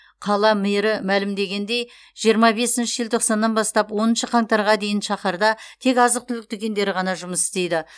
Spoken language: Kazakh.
қала мэрі мәлімдегендей жиырма бесінші желтоқсаннан бастап оныншы қаңтарға дейін шаһарда тек азық түлік дүкендері ғана жұмыс істейді